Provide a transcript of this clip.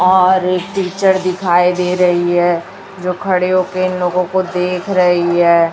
आआर एक टीचर दिखाई दे रही है जो खड़े होके इन लोगों को देख रही है।